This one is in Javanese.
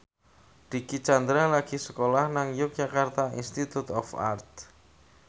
Dicky Chandra lagi sekolah nang Yogyakarta Institute of Art